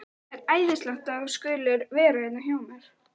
Það er æðislegt að þú skulir vera hérna hjá mér.